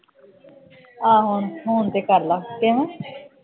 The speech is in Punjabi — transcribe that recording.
ਆਹੋ ਹੁਣ ਤੇ ਕਰ ਲੈ ਦੇਵਾਂ